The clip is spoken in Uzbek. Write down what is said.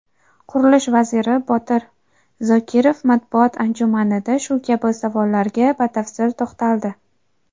Qurilish vaziri Botir Zokirov matbuot anjumanida shu kabi savollarga batafsil to‘xtaldi.